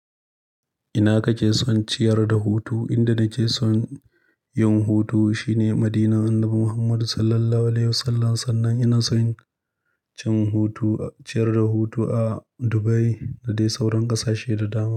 Ina kake son ciyar da hutu? Inda nake son yin hutu shine Madinan Annabi Muhammad Sallallahu Alaihi Wasallam. Sannan ina son cin hutu, ciyar da hutu a Dubai da dai sauran ƙasashe da dama.